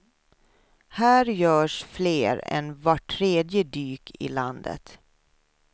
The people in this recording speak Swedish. Här görs fler än vart tredje dyk i landet.